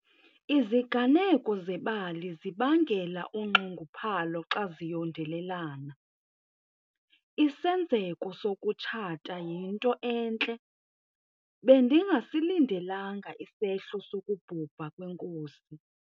Iziganeko zebali zibangela unxunguphalo zxa ziyondelelana. isenzeko sokutshata yinto entle, bendingasilindelanga isehlo sokubhubha kwenkosi